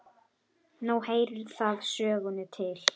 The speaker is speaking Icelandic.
Nú heyrir það sögunni til.